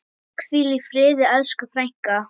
Hvíl í friði elsku frænka.